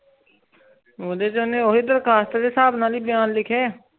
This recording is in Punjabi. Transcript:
ਓਦੇ ਛ ਓਨੇ ਓਹੀ ਦਰਖ਼ਾਸਤ ਦੇ ਸਾਬ ਨਾਲ ਹੀ ਬਿਆਨ ਕਿਲ੍ਹਿਆਂ